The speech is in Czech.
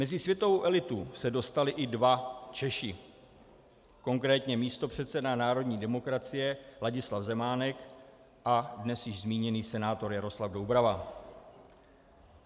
Mezi světovou elitu se dostali i dva Češi, konkrétně místopředseda národní demokracie Ladislav Zemánek a dnes již zmíněný senátor Jaroslav Doubrava.